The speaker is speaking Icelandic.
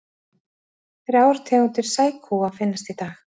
Þrjár tegundir sækúa finnast í dag.